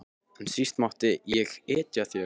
En síst mátti ég etja þér.